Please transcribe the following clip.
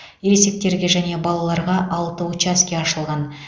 ересектерге және балаларға алты учаске ашылған